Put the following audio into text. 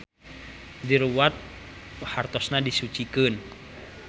Diruwat hartosna disucikeun.